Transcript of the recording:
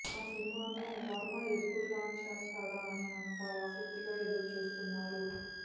ఆ సినిమాను వర్మ ఎప్పుడు లాంచ్ చేస్తాడా అని అంతా ఆసక్తిగా ఎదురుచూస్తున్నారు